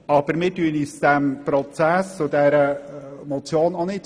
Anderseits verschliessen wir uns diesem Prozess und dieser Motion auch nicht.